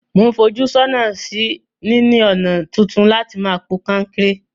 Mo n fojú sónà sí níní ònà tuntun láti ma po kankéré